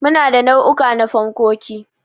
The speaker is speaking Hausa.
Muna da nau'uka na fankoki.